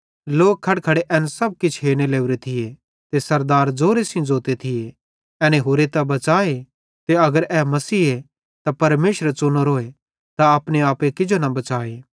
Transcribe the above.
लोक खड़खड़े एन सब किछ हेरने लोरे थिये ते सरदार ज़ोरेज़ोरे सेइं ज़ोते थिये एनी होरे त बच़ाए ते अगर ए मसीहे ते परमेशरेरो च़ुनोरे त अपने आपे किजो न बच़ाए